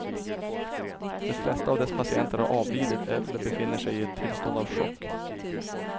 De flesta av dess patienter har avlidit eller befinner sig i ett tillstånd av chock.